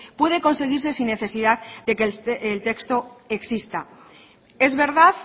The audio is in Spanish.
puede conseguirse sin necesidad de que el texto exista es verdad